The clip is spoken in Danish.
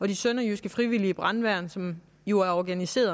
de sønderjyske frivillige brandværn som jo er organiseret